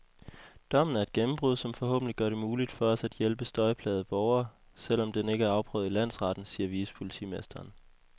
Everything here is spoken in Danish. Dommen er et gennembrud, som forhåbentlig gør det muligt for os at hjælpe støjplagede borgere, selv om den ikke er afprøvet i landsretten, siger vicepolitimesteren.